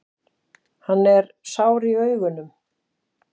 Hann er sár í augunum.